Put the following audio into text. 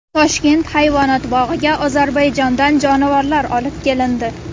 Toshkent hayvonot bog‘iga Ozarbayjondan jonivorlar olib kelindi .